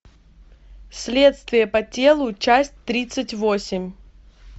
следствие по телу часть тридцать восемь